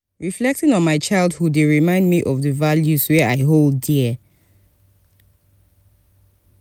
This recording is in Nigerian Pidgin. reflecting on my childhood dey remind me of the values wey i hold dear.